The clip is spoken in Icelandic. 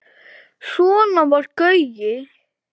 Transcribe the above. Svona var Gaui.